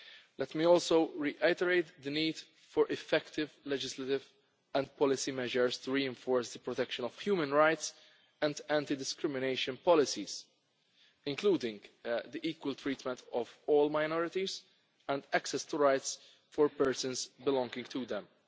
Let me also reiterate the need for effective legislative and policy measures to reinforce the protection of human rights and anti discrimination policies, including the equal treatment of all minorities and access to rights for persons belonging to them.